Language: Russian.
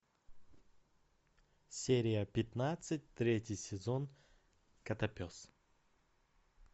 серия пятнадцать третий сезон котопес